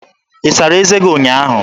Ị sara eze gị ụnyaahụ?